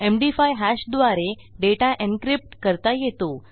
MD five hash द्वारे data encryptकरता येतो